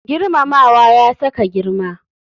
Girmamawa ya sa ka girma.